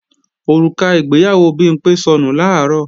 Òrùka ìgbéyàwó Bimpé sọnù làárọ̀